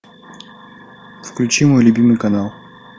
включи мой любимый канал